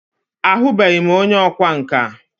A hụbeghi m onye ọkwa nka.